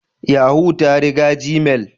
Yahoo ta riga gmail.